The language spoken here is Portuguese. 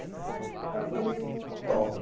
Eu falei topo.